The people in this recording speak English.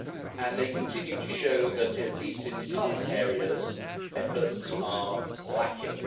and they continue to show that at least in some areas efforts are lacking.